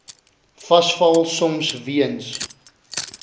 vasval soms weens